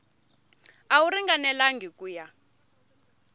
a wu ringanelangi ku ya